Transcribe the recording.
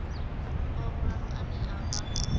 wa vhuraru ane a vha